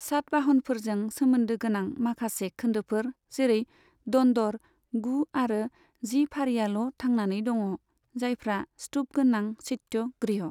सातवाहनफोरजों सोमोन्दो गोनां माखासे खोन्दोफोर जेरै दन्दर गु आरो जि फारिआल' थांनानै दङ, जायफ्रा स्तुपगोनां चैत्य गृह।